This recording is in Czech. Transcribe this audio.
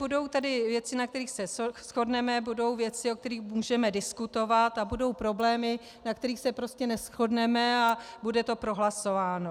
Budou tady věci, na kterých se shodneme, budou věci, o kterých můžeme diskutovat, a budou problémy, na kterých se prostě neshodneme a bude to prohlasováno.